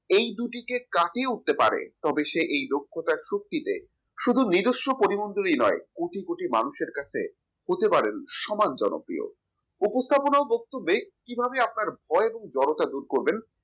এই দুটিকে কাটিয়ে উঠতে পারে তবে এসে দক্ষতার যুক্তিতে শুধু নিদর্শন করি মন্ডলীয় নয় কোটি কোটি মানুষের কাছে হতে পারে সমান জনপ্রিয়। উপস্থাপনা ও বক্তব্যে কিভাবে আপনার ভয় জরতা দূর করবেন